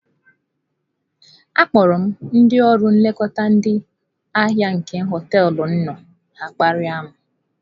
Akpọrọ m ndị ọrụ nlekọta ndị ahịa nke hoteelu m nọ, ya akparịa m.